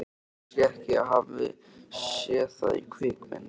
Kannski ég hafi séð það í kvikmynd.